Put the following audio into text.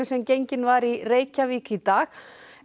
sem gengin var í Reykjavík í dag